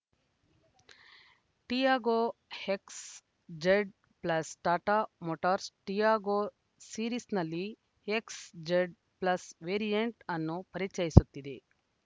Tiago XZ plus Tata Motors Tiago ಸೀರೀಸ್‌ನಲ್ಲಿ XZ plus variant ಅನ್ನು ಪರಿಚಯಿಸುತ್ತಿದೆ